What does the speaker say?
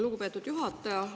Lugupeetud juhataja!